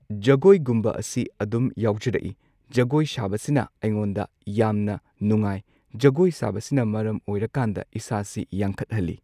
ꯖꯒꯣꯏꯒꯨꯝꯕ ꯑꯁꯤ ꯑꯗꯨꯝ ꯌꯥꯎꯖꯔꯛꯏ ꯖꯒꯣꯏ ꯁꯥꯕꯁꯤꯅ ꯑꯩꯉꯣꯟꯗ ꯌꯥꯝꯅ ꯅꯨꯡꯉꯥꯏ꯫ ꯖꯒꯣꯏ ꯁꯥꯕꯁꯤꯅ ꯃꯔꯝ ꯑꯣꯏꯔꯀꯥꯟꯗ ꯏꯁꯥꯁꯤ ꯌꯥꯡꯈꯠꯍꯜꯂꯤ꯫